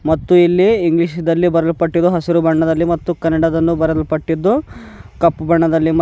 ಮತ್ತು ಇಲ್ಲಿ ಇಂಗ್ಲಿಷ್ ನಲ್ಲಿ ಬರಿಯಲ್ಪಟ್ಟಿರುವ ಹಸಿರು ಬಣ್ಣದಲ್ಲಿ ಮತ್ತು ಕನ್ನಡದನ್ನೂ ಕರಿಯಲ್ಪಟ್ಟದ್ದು ಕಪ್ಪು ಬಣ್ಣದಲ್ಲಿ ಮ --